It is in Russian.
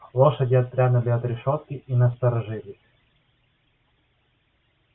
лошади отпрянули от решётки и насторожились